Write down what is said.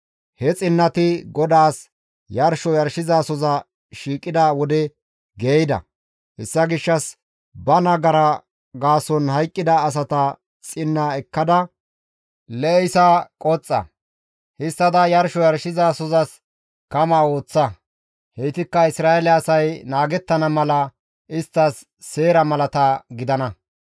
he xinnati GODAAS yarsho yarshizasoza shiiqida wode geeyida; hessa gishshas ba nagara gaason hayqqida asata xinna ekkada lee7isa qoxxa; histtada yarsho yarshizasozas kama ooththa; heytikka Isra7eele asay naagettana mala isttas seera malata gidana.»